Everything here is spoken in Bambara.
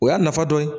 O y'a nafa dɔ ye